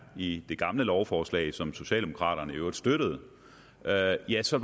i det gamle lovforslag som socialdemokraterne i øvrigt støttede ja ja så